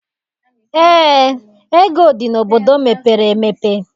Eé, ego dị n'obodo mepere emepe.